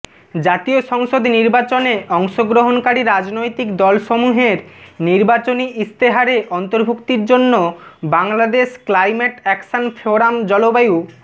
জাতীয় সংসদ নির্বাচনে অংশগ্রহণকারী রাজনৈতিক দলসমূহের নির্বাচনী ইশতেহারে অন্তর্ভুক্তির জন্য বাংলাদেশ ক্লাইমেট অ্যাকশন ফোরাম জলবায়ু